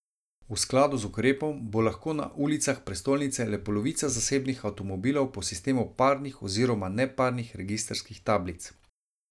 V skladu z ukrepom bo lahko na ulicah prestolnice le polovica zasebnih avtomobilov po sistemu parnih oziroma neparnih registrskih tablic.